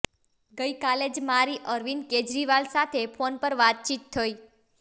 ગઈ કાલે જ મારી અરવિંદ કેજરીવાલ સાથે ફોન પર વાતચીત થઈ